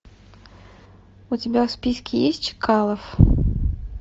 у тебя в списке есть чкалов